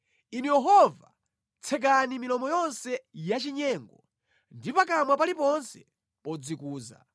Inu Yehova tsekani milomo yonse yachinyengo ndi pakamwa paliponse podzikuza.